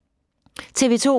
TV 2